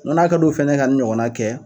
N ko na ka d'o fɛnɛ ye ka nin ɲɔgɔnna kɛ